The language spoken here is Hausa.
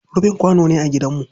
Rufin kwano ne a gidanmu.